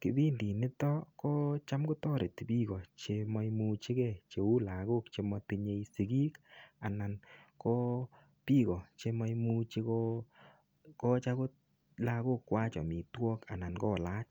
kipindi nito ko cham kotoreti biiko chemaimuchigei cheu lagok che matinye sigiik anan ko biik chemuchi kokochi agot lagokwach amitwok anan ko lach.